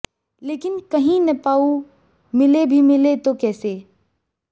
लेकिन कहीं न पाऊं मिले भी मिले तो कैसे